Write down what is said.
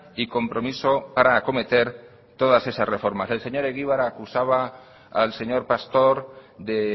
y compromiso para acometer todas esas reformas el señor egibar acusaba al señor pastor de